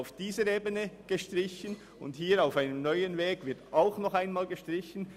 Auf dieser Ebene wird gestrichen, und hier wird auf einem neuen Weg noch einmal gestrichen.